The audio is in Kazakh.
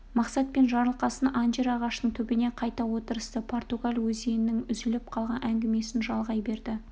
мақсат пен жарылқасын анжир ағашының түбіне қайта отырысты португал өзінің үзіліп қалған әңгімесін жалғай берді